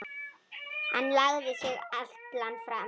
Hann lagði sig allan fram.